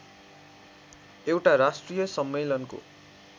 एउटा राष्ट्रिय सम्मेलनको